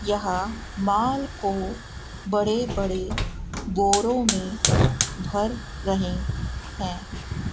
यहां माल को बड़े बड़े बोरों में भर रहे हैं।